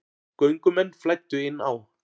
Göngumenn flæddu inn á